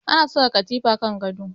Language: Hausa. Ana saka katifa kan gado